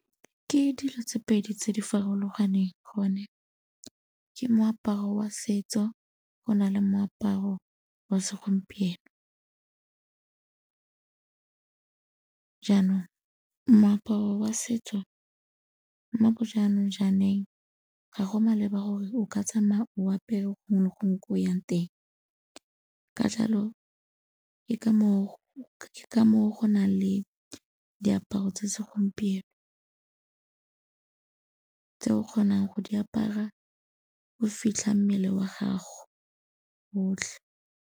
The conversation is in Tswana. Ke dilo tse pedi tse di farologaneng gone, ke moaparo wa setso go na le moaparo wa segompieno. Jaanong moaparo wa setso mo bo jaanong ga go maleba gore o ka tsamaya o apere gongwe le gongwe ko o yang teng, ka jalo ke ka moo go nang le diaparo tsa segompieno, tse o kgonang go di apara o fitlha mmele wa gago otlhe.